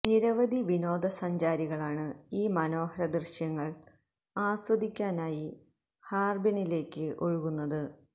നിരവധി വിനോദ സഞ്ചാരികളാണ് ഈ മനോഹര ദൃശ്യങ്ങൾ ആസ്വദിക്കാനായി ഹാർബിനിലേക്ക് ഒഴുകുന്നത്